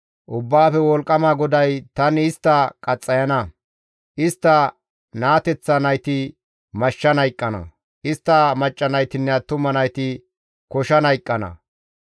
Ubbaafe Wolqqama GODAY, «Tani istta qaxxayana; istta naateththa nayti mashshan hayqqana; istta macca naytinne attuma nayti koshan hayqqana;